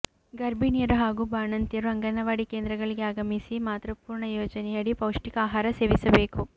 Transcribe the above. ಗರ್ಭಿಣಿಯರು ಹಾಗೂ ಬಾಣಂತಿಯರು ಅಂಗನವಾಡಿ ಕೇಂದ್ರಗಳಿಗೆ ಆಗಮಿಸಿ ಮಾತೃಪೂರ್ಣ ಯೋಜನೆಯಡಿ ಪೌಷ್ಠಿಕ ಆಹಾರ ಸೇವಿಸಬೇಕು